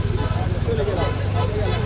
Şölə gəl! Gəl, gəl, gəl!